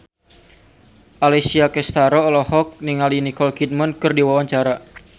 Alessia Cestaro olohok ningali Nicole Kidman keur diwawancara